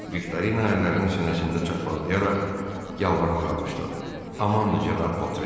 Viktorina əllərini sinəsində çarpazlayaraq yalvarmağa başladı: Amandır cənab Votren.